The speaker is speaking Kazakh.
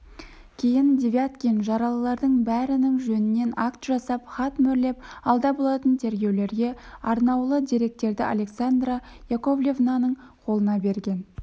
кейін девяткин жаралылардың бәрінің жөнінен акт жасап хат мөрлеп алда болатын тергеулерге арнаулы деректерді александра яковлевнаның қолына берген